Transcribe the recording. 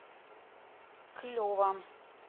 клево